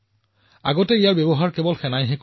ড্ৰোনৰ পৰিসৰ ইয়াৰ শক্তি কেৱল সেয়াই নহয়